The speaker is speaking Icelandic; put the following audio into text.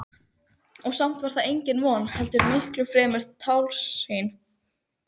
Og samt var það engin von heldur miklu fremur tálsýn.